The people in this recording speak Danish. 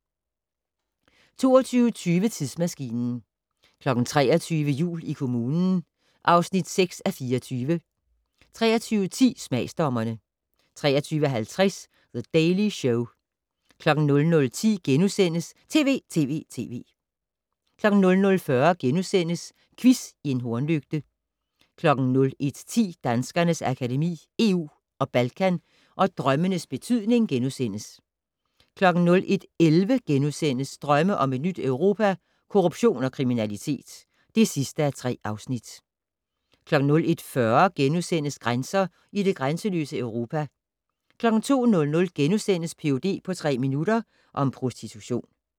22:20: Tidsmaskinen 23:00: Jul i kommunen (6:24) 23:10: Smagsdommerne 23:50: The Daily Show 00:10: TV!TV!TV! * 00:40: Quiz i en hornlygte * 01:10: Danskernes Akademi: EU og Balkan & Drømmenes betydning * 01:11: Drømme om et nyt Europa - Korruption og kriminalitet (3:3)* 01:40: Grænser i det grænseløse Europa * 02:00: Ph.d. på tre minutter - om prostitution *